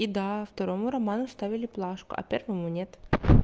и да второму роману ставили плашку а первому нет